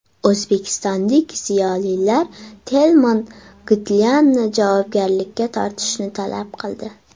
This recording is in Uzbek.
O‘zbekistonlik ziyolilar Telman Gdlyanni javobgarlikka tortishni talab qildi.